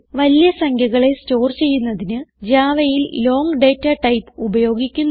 വലിയ സംഖ്യകളെ സ്റ്റോർ ചെയ്യുന്നതിന് javaയിൽ ലോങ് ഡേറ്റാടൈപ്പ് ഉപയോഗിക്കുന്നു